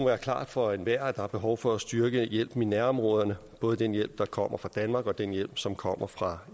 være klart for enhver at der er behov for at styrke hjælpen i nærområderne både den hjælp der kommer fra danmark og den hjælp som kommer fra